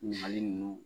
Ɲininkali ninnu